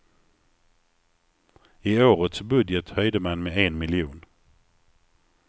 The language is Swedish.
I årets budget höjde man med en miljon.